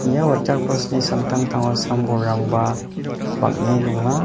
ia waterfalls-ni samtangtango sam bolrangba bang·e donga.